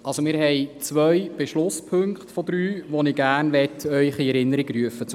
– Wir haben zwei von drei Beschlusspunkten, die ich Ihnen gerne in Erinnerung rufen möchte.